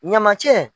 Ɲamacɛ